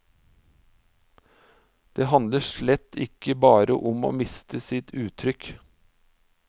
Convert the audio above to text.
Den handler slett ikke bare om å miste sitt uttrykk.